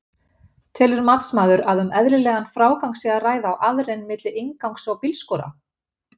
Telur matsmaður að um eðlilegan frágang sé að ræða á aðrein milli inngangs og bílskúra?